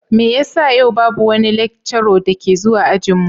Me yasa yau babu wani lecturer da ke zuwa ajin mu?